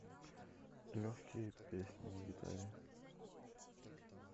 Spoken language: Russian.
легкие песни на гитаре